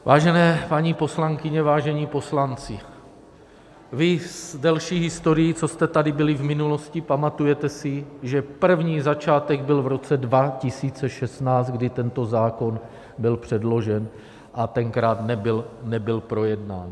Vážené paní poslankyně, vážení poslanci, vy s delší historií, co jste tady byli v minulosti, pamatujete si, že první začátek byl v roce 2016, kdy tento zákon byl předložen, a tenkrát nebyl projednán.